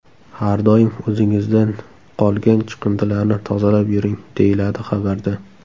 Har doim o‘zingizdan qolgan chiqindilarni tozalab yuring”, - deyiladi xabarda.